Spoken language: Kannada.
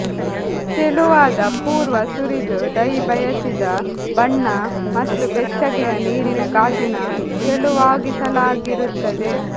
ತೆಳುವಾದ ಪೂರ್ವ ಸುರಿದು ಡೈ ಬಯಸಿದ ಬಣ್ಣ ಮತ್ತು ಬೆಚ್ಚಗಿನ ನೀರಿನ ಗಾಜಿನ ತೆಳುವಾಗಿಸಲಾಗಿರುತ್ತದೆ